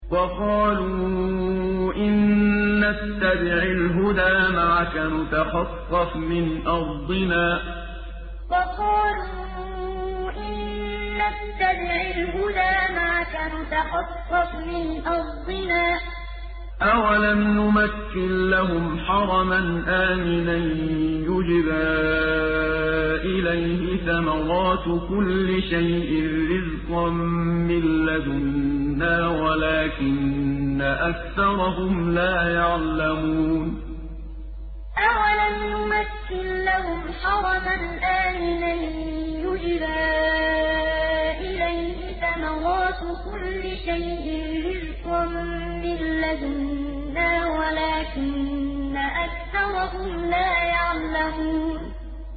وَقَالُوا إِن نَّتَّبِعِ الْهُدَىٰ مَعَكَ نُتَخَطَّفْ مِنْ أَرْضِنَا ۚ أَوَلَمْ نُمَكِّن لَّهُمْ حَرَمًا آمِنًا يُجْبَىٰ إِلَيْهِ ثَمَرَاتُ كُلِّ شَيْءٍ رِّزْقًا مِّن لَّدُنَّا وَلَٰكِنَّ أَكْثَرَهُمْ لَا يَعْلَمُونَ وَقَالُوا إِن نَّتَّبِعِ الْهُدَىٰ مَعَكَ نُتَخَطَّفْ مِنْ أَرْضِنَا ۚ أَوَلَمْ نُمَكِّن لَّهُمْ حَرَمًا آمِنًا يُجْبَىٰ إِلَيْهِ ثَمَرَاتُ كُلِّ شَيْءٍ رِّزْقًا مِّن لَّدُنَّا وَلَٰكِنَّ أَكْثَرَهُمْ لَا يَعْلَمُونَ